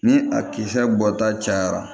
Ni a kisɛ bɔta cayara